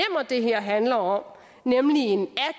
det her handler om nemlig en